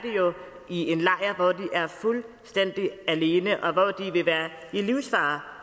i en lejr hvor de er fuldstændig alene og hvor de vil være i livsfare